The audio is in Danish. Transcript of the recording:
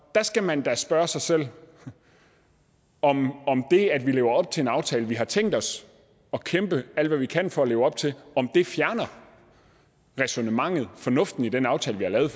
der skal man da spørge sig selv om det at vi lever op til en aftale vi har tænkt os at kæmpe alt hvad vi kan for at leve op til fjerner ræsonnementet og fornuften i den aftale vi har lavet